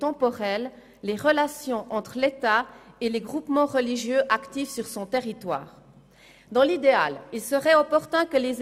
Wir würden damit den Kirchen vorschreiben, auf welchen Grundlagen sie beruhen.